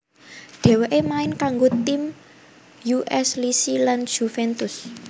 Dheweke main kanggo tim U S Lecce lan Juventus